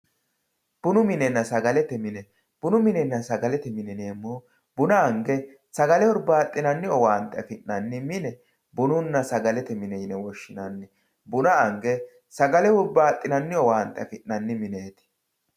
bunu minenna sagalete mini. bunu minenna sagalete mine yineemmohu buna ange sagale hurbaaxxinanni owaante afi'nanni mine bununna sagalete mine yinanni buna ange sagale hurbaaxxinanni owaante afi'nanni mineeti.